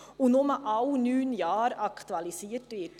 Zudem wird sie nur alle neun Jahre aktualisiert.